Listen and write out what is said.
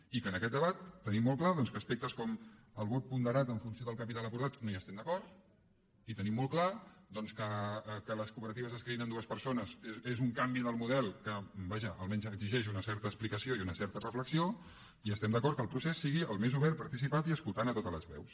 i que en aquest debat tenim molt clar doncs que amb aspectes com el vot ponderat en funció del capital acordat no hi estem d’acord i tenim molt clar doncs que que les cooperatives es creïn amb dues persones és un canvi en el model que vaja almenys exigeix una certa explicació i una certa reflexió i estem d’acord que el procés sigui el més obert participat i escoltant totes les veus